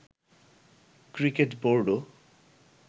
cricket বোর্ডও